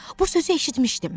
Bu sözü eşitmişdim.